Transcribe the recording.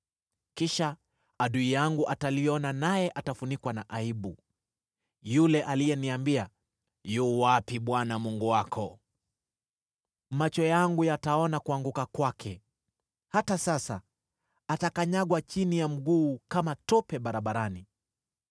Kisha adui yangu ataliona naye atafunikwa na aibu, yule aliyeniambia, “Yu wapi Bwana Mungu wako?” Macho yangu yataona kuanguka kwake, hata sasa atakanyagwa chini ya mguu kama tope barabarani.